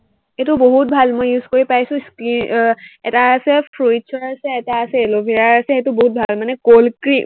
এইটো বহুত ভাল, মই use কৰি পাইছো, skin আহ এটা আছে fruits ৰ আছে, এটা আছে aloe vera আছে সেইটো বহুত ভাল। মানে cold cream